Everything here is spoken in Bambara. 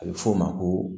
A bɛ fɔ o ma ko